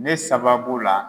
Ne sababu la